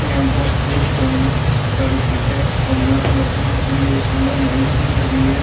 यहाँ बस देख रहे होंगे इतनी सारी सीटें हैं और यहाँ रखने के लिए सामान है ए_सी भी लगी हुई है।